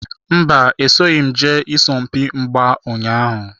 Mba, esoghim jee isompi mgba ụnyaahụ.